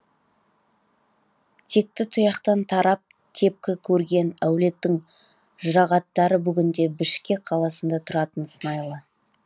текті тұяқтан тарап тепкі көрген әулеттің жұрағаттары бүгінде бішкек қаласында тұратын сыңайлы